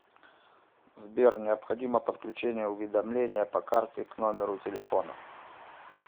сбер необходимо подключение уведомления по карте к номеру телефона